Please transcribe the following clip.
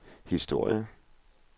historier